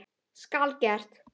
Skal gert!